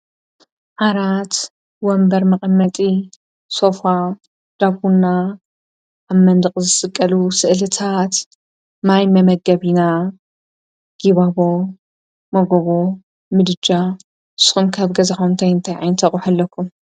ኣራት ወንበር መቐመጢ ሶፉ ዳቡና ኣብ መንድቕ ዘስቀሉ ሥእልታሓት ማይ መመገቢና ጊባቦ መጎቦ ምድጃ ሶንካኣብ ገዝኾምተይ ንተይኣንተቑሕ ኣለኩ።